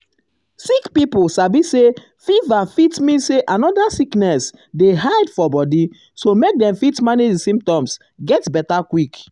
sick pipo gatz sabi say fever fit mean say another sickness dey hide for body so make dem fit um manage di symptoms get beta quick.